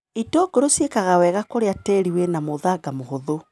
Itũngũrũ ciĩkaga wega kũrĩa tĩri wĩna mũthanga mũhũthũ.